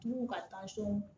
Tu ka